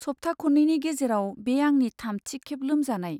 सप्ता खन्नैनि गेजेराव बे आंनि थामथि खेब लोमजानाय।